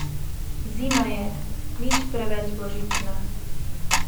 Zima je, nič preveč božična.